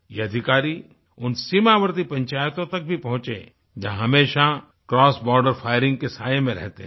ये अधिकारी उन सीमावर्ती पंचायतों तक भी पहुँचे जो हमेशा क्रॉस बॉर्डर फायरिंग के साए में रहते हैं